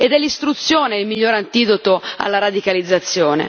Ed è l'istruzione il miglior antidoto alla radicalizzazione.